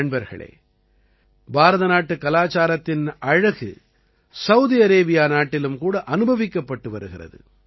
நண்பர்களே பாரதநாட்டுக் கலாச்சாரத்தின் அழகு சௌதி அரேபியா நாட்டிலும் கூட அனுபவிக்கப்பட்டு வருகிறது